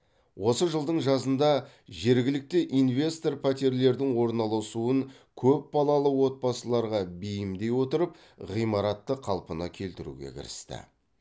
осы жылдың жазында жергілікті инвестор пәтерлердің орналасуын көп балалы отбасыларға бейімдей отырып ғимаратты қалпына келтіруге кірісті